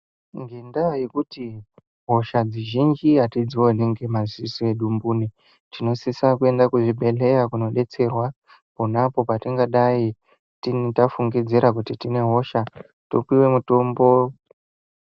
Ngendaa yekuti hosha dzizhinji hatidzioni ngemadziso edu mbune tinosisa kuenda kuzvibhehlera ponapo patingadai tafungidzira kuti tine hosha topuwa mutombo